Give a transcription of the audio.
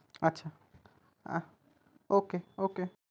আচ্ছা আচ্ছা okay okay